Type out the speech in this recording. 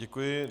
Děkuji.